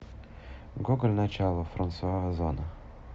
гоголь начало франсуа озон